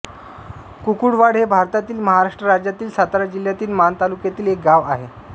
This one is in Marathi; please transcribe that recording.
कुकुडवाड हे भारतातील महाराष्ट्र राज्यातील सातारा जिल्ह्यातील माण तालुक्यातील एक गाव आहे